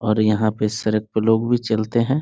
और यहाँ पे सड़क पर लोग भी चलते हैं।